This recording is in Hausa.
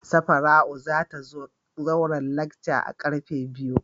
Safaratu za ta zo zauren lacca a'karfe biyu.